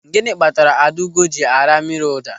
Gịnị kpatara Adaugo ji ara mmiri ụda?